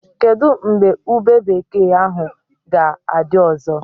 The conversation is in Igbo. Kedụ mgbe ube bekee ahụ ga-adị ọzọ?